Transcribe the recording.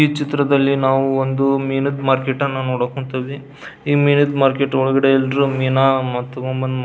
ಈ ಚಿತ್ರದಲ್ಲಿ ನಾವು ಒಂದು ಮೀನಿದ್ ಮಾರ್ಕೆಟ್ ಅನ್ನ ನೋಡಕ್ ಹೊಂತಿವಿ ಈ ಮೀನಿದ್ ಮಾರ್ಕೆಟ್ ಒಳಗಡೆ ಎಲ್ಲ ಮೀನಾ ತಕ್ಕೊಬಂದ್ --